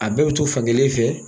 A dɔw to fan kelen fɛ